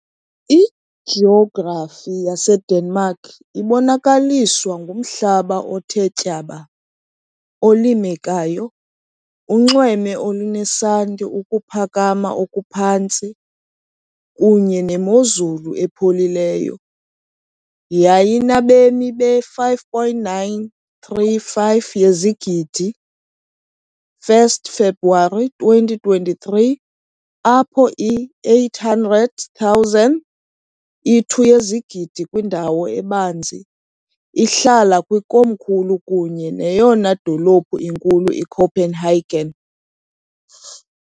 Ijografi yaseDenmark ibonakaliswa ngumhlaba othe tyaba, olimekayo, unxweme olunesanti, ukuphakama okuphantsi, kunye nemozulu epholileyo . Yayinabemi be-5.935 yezigidi, 1 February 2023, apho i-800,000, i-2 yezigidi kwindawo ebanzi, ihlala kwikomkhulu kunye neyona dolophu inkulu, iCopenhagen .